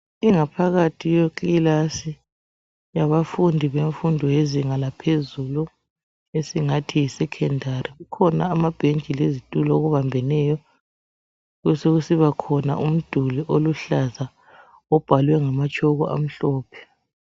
Ingaphakathi yekilasi yabafundi bemfundo yezinga laphezulu, esingathi yeSekhendari kukhona amabench lezitulo okubambeneyo ,besekusiba khona umduli oluhlaza obhalwe ngamatshoko amhlophe.